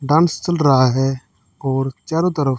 dance चल रहा है और चारो तरफ--